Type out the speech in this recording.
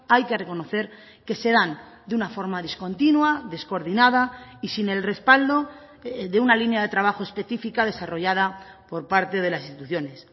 hay que reconocer que se dan de una forma discontinua descoordinada y sin el respaldo de una línea de trabajo especifica desarrollada por parte de las instituciones